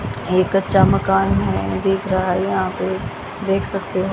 ये कच्चा मकान है दिख रहा है यहां पे देख सकते हो।